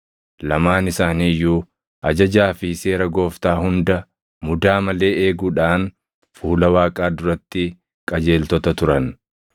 Lamaan isaanii iyyuu ajajaa fi seera Gooftaa hunda mudaa malee eeguudhaan fuula Waaqaa duratti qajeeltota turan.